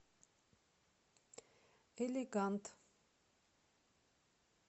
элегант